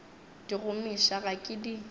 di gomiša ga ke di